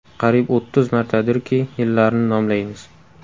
Qariyb o‘ttiz martadirki, yillarni nomlaymiz.